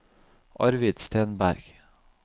Arvid Stenberg